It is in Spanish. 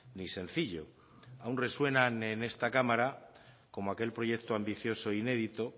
ni sencillo aun resuena en esta cámara como aquel proyecto ambicioso e inédito